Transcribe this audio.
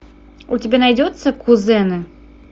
у тебя найдется кузены